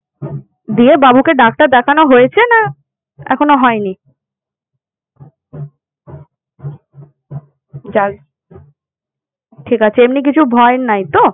দিয়ে বাবু কে ডাক্তার দেখানো হয়েছে না এখনো হয়নি? যাক ঠিক আছে। এমনি কিছু ভয়ের নাই তো?